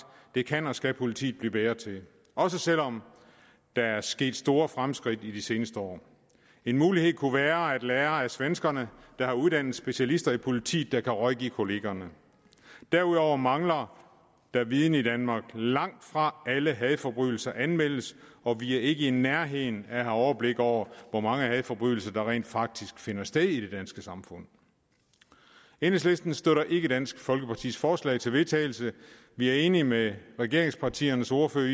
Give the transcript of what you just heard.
det kan og skal politiet blive bedre til også selv om der er sket store fremskridt i de seneste år en mulighed kunne være at lære af svenskerne der har uddannet specialister i politiet der kan rådgive kollegaerne derudover mangler der viden i danmark langtfra alle hadforbrydelser anmeldes og vi er ikke i nærheden af at have overblik over hvor mange hadforbrydelser der rent faktisk finder sted i det danske samfund enhedslisten støtter ikke dansk folkepartis forslag til vedtagelse vi er enige med regeringspartiernes ordførere